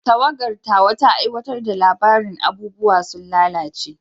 Tawagar tawa ta aiwatar da labarin "Abubuwa sun lalace".